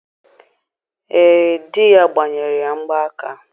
Ee, di ya gbanyere ya mgba aka.